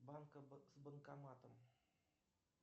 банка с банкоматом